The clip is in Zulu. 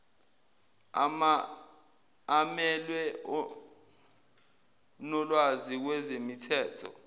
amelwe onolwazi kwezemithetho